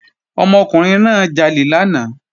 Ọmọkùnrin náà jalè lánàá